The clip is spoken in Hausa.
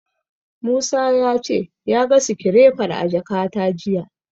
Musa ya ce ya ga sikirefar a jakata jiya.